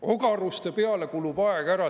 Ogaruste peale kulub aeg ära!